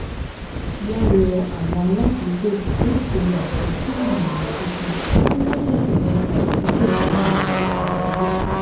wón rọ àwọn aládùúgbò láti lo àpótí ìmòràn tuntun tí wón ṣẹṣẹ gbé kalè nítòsí ẹnu ònà àbáwọlé